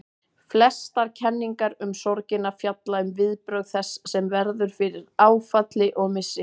Flestar kenningar um sorgina fjalla um viðbrögð þess sem verður fyrir áfalli og missi.